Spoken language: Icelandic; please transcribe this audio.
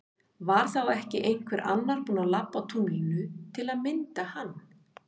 Var þá ekki einhver annar búin að labba á tunglinu til að mynda hann?